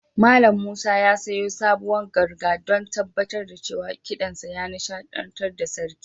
Mallam Musa ya sayo sabuwar ganga don tabbatar da cewa kiɗansa ya nishaɗantar da sarki.